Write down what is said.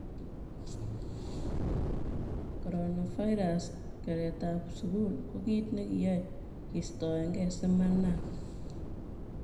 Coronavirus:keretab sukul ko kit nekiyoe kistoenge simanam